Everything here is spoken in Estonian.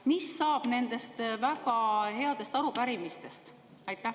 Mis saab nendest väga headest arupärimistest?